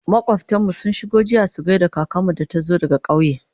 makwaftan mu sun shigo jiya su gaida kakanmu da ta zo daga ƙauye